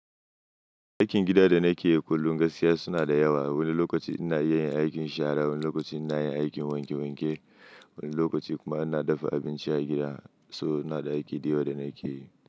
Aikin gida da na ke yi kullum gaskiya suna da yawa. Wani lokaci ina yin aikin shara, wani lokaci ina yin aikin wanke wanke, wani lokaci kuma ina dafa abinci a gida. So ina da aiki da yawa da na ke yi.